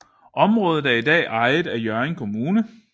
Området er i dag ejet af Hjørring Kommune